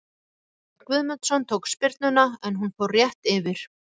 Viktor Örn Guðmundsson tók spyrnuna en hún fór rétt yfir.